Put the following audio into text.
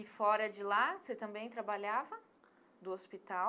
E fora de lá, você também trabalhava do hospital?